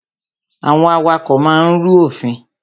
Àwọn awakọ̀ máa ń rú òfin.